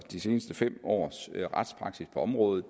de sidste fem års retspraksis på området